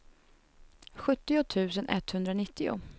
sjuttio tusen etthundranittio